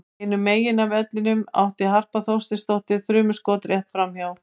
Hinum megin á vellinum átti Harpa Þorsteinsdóttir þrumuskot rétt framhjá.